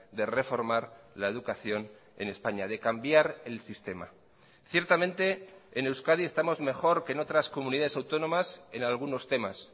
de reformar la educación en españa de cambiar el sistema ciertamente en euskadi estamos mejor que en otras comunidades autónomas en algunos temas